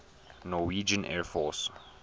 norwegian air force